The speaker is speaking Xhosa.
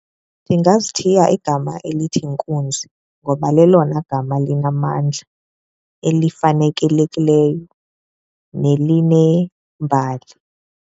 Ndingazithiya igama elithi nkunzi ngoba lelona gama linamandla elifanelekileyo nelinembali.